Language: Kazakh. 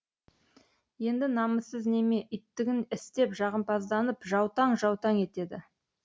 енді намыссыз неме иттігін істеп жағымпазданып жаутаң жаутаң етеді